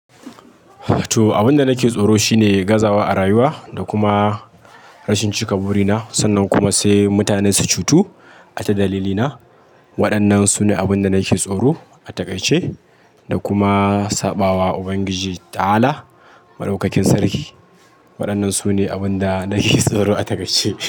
To abin da nake tsoro shine gazawa a rayuwa da kuma rashin cika burina sannan kuma sai mutane su cutu ata dalilina. Waɗannan su ne abin da nake tsoro a takai ce, da kuma saɓawa Ubangiji ta'ala madaukakin sarki. Waɗannan su ne abin da nake tsoro a takai ce.